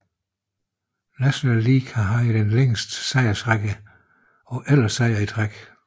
National League har haft den længste sejrsrække på 11 sejre i træk